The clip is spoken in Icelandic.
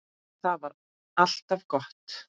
Það var alltaf gott.